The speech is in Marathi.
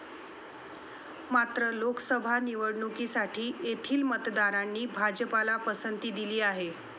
मात्र, लोकसभा निवडणुकीसाठी येथील मतदारांनी भाजपला पसंती दिली आहे.